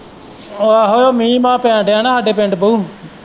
ਉਹ ਆਹੋ ਮੀਂਹ ਮਾਹ ਪੈਣ ਦਿਆ ਸਾਡੇ ਪਿੰਡ ਭਾਊ।